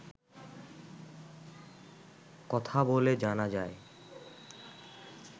কথা বলে জানা যায়